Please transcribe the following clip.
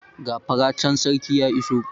Gafara can, sarki ya iso!